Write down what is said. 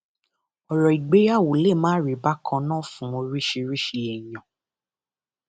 ọrọ ìgbéyàwó lè má rí bákan náà fún oríṣiríṣiì èèyàn